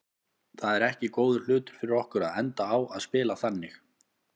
Það er ekki góður hlutur fyrir okkur að enda á að spila þannig.